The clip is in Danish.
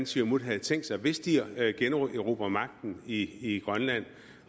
siumut har tænkt sig hvis de generobrer magten i i grønland